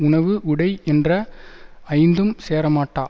உணவு உடை என்ற ஐந்தும் சேரமாட்டா